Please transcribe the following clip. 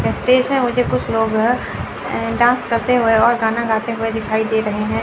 Stage है मुझे कुछ लोग डांस करते हुए और गाना गाते हुए दिखाई दे रहे हैं।